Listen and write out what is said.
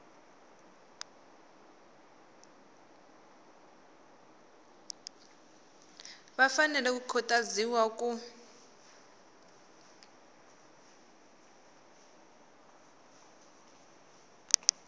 va fanele ku khutaziwa ku